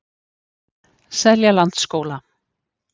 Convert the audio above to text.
Seljalandsskóla